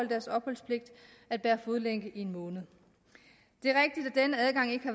deres opholdspligt at bære fodlænke i en måned det